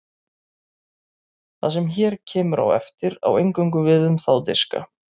það sem hér kemur á eftir á eingöngu við um þá diska